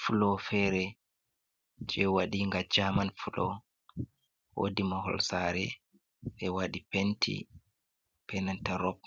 flo fere je waɗi ga german flo wodi mahol sare ɓe wadi penti benanta rop.